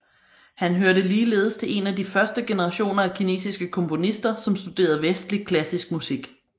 Han hørte ligeledes til en af de første generationer af kinesiske komponister som studerede vestlig klassisk musik